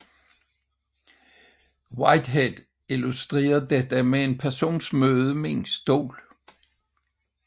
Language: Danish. Whitehead illustrerer dette med en persons møde med en stol